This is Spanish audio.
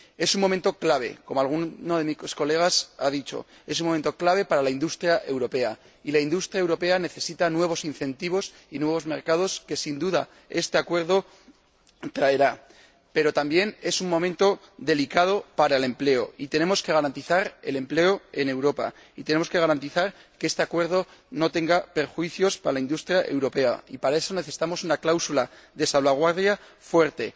Es un momento clave como alguno de mis colegas ha dicho para la industria europea y la industria europea necesita nuevos incentivos y nuevos mercados que, sin duda, traerá este acuerdo. Pero también es un momento delicado para el empleo, y tenemos que garantizar el empleo en Europa y tenemos que garantizar que este acuerdo no perjudique a la industria europea, y, para eso, necesitamos una cláusula de salvaguardia fuerte